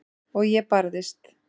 Og ég barðist.